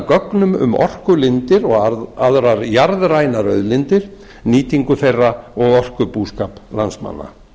gögnum um orkulindir og aðrar jarðrænar auðlindir nýtingu þeirra og orkubúskap landsmanna